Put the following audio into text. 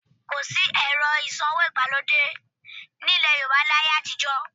Kò sí ẹ̀rọ ìsanwó ìgbàlódé ní ilẹ̀ Yorùbá láyé àtijọ́